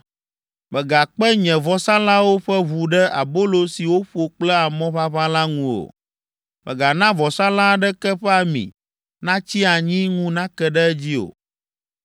“Megakpe nye vɔsalãwo ƒe ʋu ɖe abolo si woƒo kple amɔ ʋaʋã la ŋu o. “Megana vɔsalã aɖeke ƒe ami natsi anyi ŋu nake ɖe edzi o.